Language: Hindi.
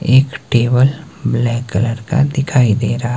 एक टेबल ब्लैक कलर का दिखाई दे रा--